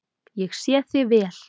Ég sé þig vel.